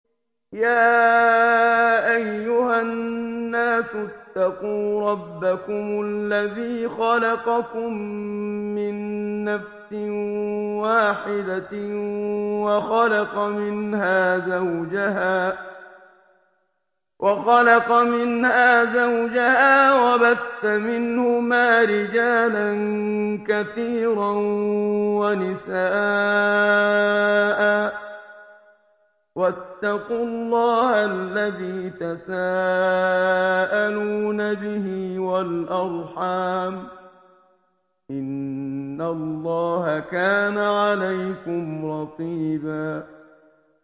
يَا أَيُّهَا النَّاسُ اتَّقُوا رَبَّكُمُ الَّذِي خَلَقَكُم مِّن نَّفْسٍ وَاحِدَةٍ وَخَلَقَ مِنْهَا زَوْجَهَا وَبَثَّ مِنْهُمَا رِجَالًا كَثِيرًا وَنِسَاءً ۚ وَاتَّقُوا اللَّهَ الَّذِي تَسَاءَلُونَ بِهِ وَالْأَرْحَامَ ۚ إِنَّ اللَّهَ كَانَ عَلَيْكُمْ رَقِيبًا